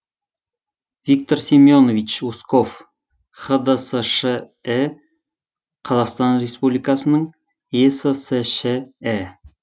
виктор семенович усков хдсш і қазақстан республикасының ессш і